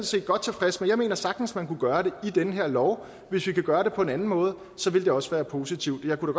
set godt tilfreds med jeg mener sagtens man kunne gøre det i den her lov hvis vi kunne gøre det på en anden måde ville det også være positivt jeg kunne